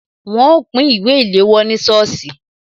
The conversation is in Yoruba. Wọn ó pín ìwé ìléwọ́ ní sọ́ọ̀sì